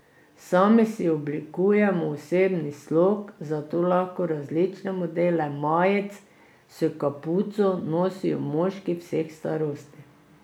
Sami si oblikujemo osebni slog, zato lahko različne modele majic s kapuco nosijo moški vseh starosti.